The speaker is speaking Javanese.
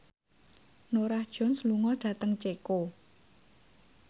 Norah Jones lunga dhateng Ceko